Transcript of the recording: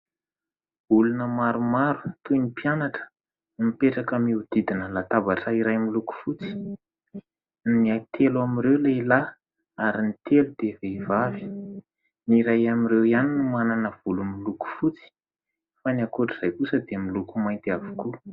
olona maromaro toy ny mpianatra no mipetraka mihodidina latabatra iray miloko fotsy, ny telo amin'ireo lehilahy ary ny telo dia vehivavy, ny iray amin'ireo ihany no manana volo miloko fotsy fa ny ankoatrizay kosa dia miloko mainty avokoa.